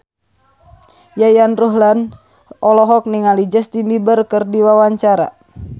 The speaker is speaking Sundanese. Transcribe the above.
Yayan Ruhlan olohok ningali Justin Beiber keur diwawancara